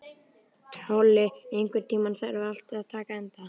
Tolli, einhvern tímann þarf allt að taka enda.